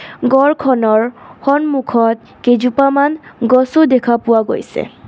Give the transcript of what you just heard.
গৰ খনৰ সন্মুখত কেইজোপামান গছো দেখা পোৱা গৈছে.